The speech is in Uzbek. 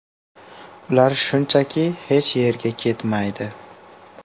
Ular shunchaki hech yerga ketmaydi.